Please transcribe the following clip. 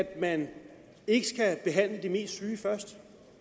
at man ikke skal behandle de mest syge først